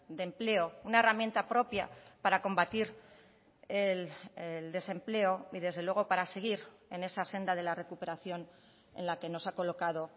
de empleo una herramienta propia para combatir el desempleo y desde luego para seguir en esa senda de la recuperación en la que nos ha colocado